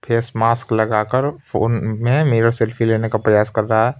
Face mask लगाकर phone में mirror selfie लेने का प्रयास कर रहा है ।